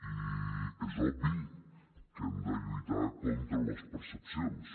i és obvi que hem de lluitar contra les percepcions